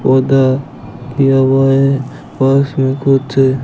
उधर किया हुआ है पास में कुछ --